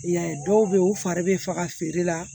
I y'a ye dɔw bɛ ye u fari bɛ faga feere la